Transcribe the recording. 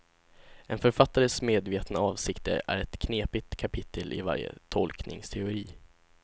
En författares medvetna avsikter är ett knepigt kapitel i varje tolkningsteori.